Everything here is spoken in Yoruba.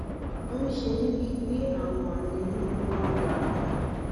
ó ń ṣe mí bíi pé àwọn adẹnú wà lára wọn